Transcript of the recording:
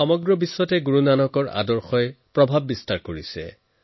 সমগ্ৰ বিশ্বত গুৰু নানক দেৱজীৰ প্ৰভাৱ স্পষ্টকৈ পৰিলক্ষিত হয়